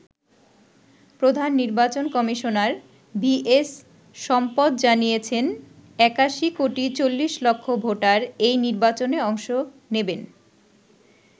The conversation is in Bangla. প্রধান নির্বাচন কমিশনার ভি এস সম্পৎ জানিয়েছেন ৮১ কোটি ৪০ লক্ষ ভোটার এই নির্বাচনে অংশ নেবেন।